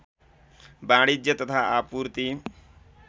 वाणिज्य तथा आपूर्ति